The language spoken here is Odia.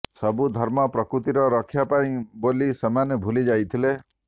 ସବୁ ଧର୍ମ ପ୍ରକୃତିର ରକ୍ଷା ପାଇଁ ବୋଲି ସେମାନେ ଭୁଲି ଯାଇଥିଲେ